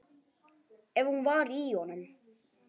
Ef hún var í honum.